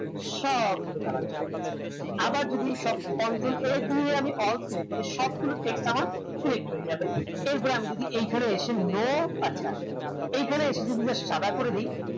সবগুলোর colour চলে যাবে আবার যদি সব control a দিয়ে আমি all select করি সবগুলো text select হয়ে যাবে এরপর আমি যদি এখানে এসে no আচ্ছা এখানে এসে যদি just সাদা করে দেয়